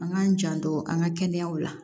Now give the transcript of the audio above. An k'an janto an ka kɛnɛyaw la